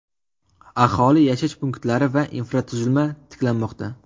Aholi yashash punktlari va infratuzilma tiklanmoqda.